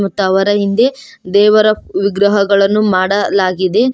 ಮತ್ ಅವರ ಹಿಂದೆ ದೇವರ ವಿಗ್ರಹಗಳನ್ನು ಮಾಡಲಾಗಿದೆ.